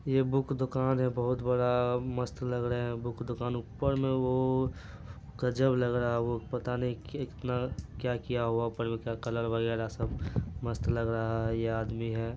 यह बुक दुकान है बहुत बड़ा मस्त लग रहा है बुक दुकान ऊपर में वो गजब लग रहा है पता नहीं वो कितना क्या किया हुआ है कलर वगैरह सब मस्त लग रहा है। यह आदमी है।